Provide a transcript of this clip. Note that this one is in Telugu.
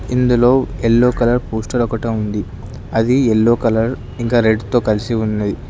ఇందులో ఎల్లో కలర్ పోస్టర్ ఒకటి ఉంది అది ఎల్లో కలర్ ఇంకా రెడ్ తొ కలిసి ఉన్నది.